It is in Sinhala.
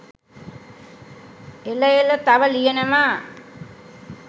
එල එල තව ලියනවා